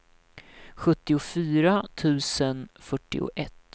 sjuttiofyra tusen fyrtioett